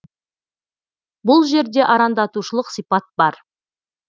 бұл жерде арандатушылық сипат бар